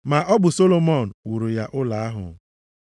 Ma ọ bụ Solomọn wuru ya ụlọ ahụ.